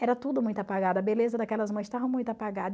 Era tudo muito apagado, a beleza daquelas mães estava muito apagada.